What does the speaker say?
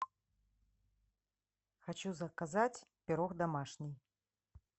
хочу заказать пирог домашний